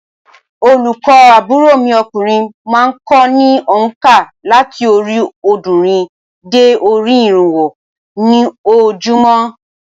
Olùkọ́ àbúrò mi okùnrin má a n ko ní ònkà láti orí òódúnrín dé orí irínwó ní ojoojúmó